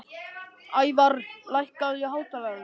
Ævarr, lækkaðu í hátalaranum.